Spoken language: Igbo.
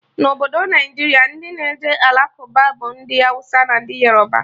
Na Obodo Naijiria, ndị na-eje Alakụba bụ ndị Awụsa na ndị Yoroba